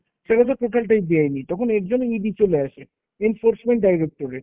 সেটা তো total টাই বেআইনি। তখন এর জন্য ED চলে আসে enforcement directorate